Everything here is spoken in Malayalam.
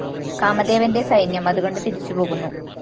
കാമദേവന്റെ സൈന്യം അതുകണ്ട് തിരിച്ചുപോകുന്നു